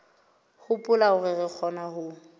hopola hore re kgona ho